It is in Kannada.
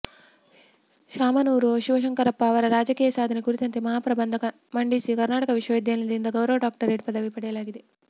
ಶಾಮನೂರು ಶಿವಶಂಕರಪ್ಪ ಅವರ ರಾಜಕೀಯ ಸಾಧನೆ ಕುರಿತಂತೆ ಮಹಾ ಪ್ರಬಂಧ ಮಂಡಿಸಿ ಕರ್ನಾಟಕ ವಿಶ್ವವಿದ್ಯಾಲಯದಿಂದ ಗೌರವ ಡಾಕ್ಟರೇಟ್ ಪದವಿ ಪಡೆಯಲಾಗಿದೆ